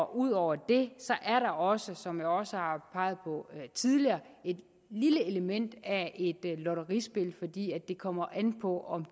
ud over det er der også som jeg også har peget på tidligere et lille element af lotterispil i det fordi det kommer an på om